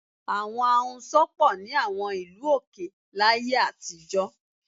Àwọn ahunsọ pọ̀ ní àwọn ìlú òkè láyé àtijọ́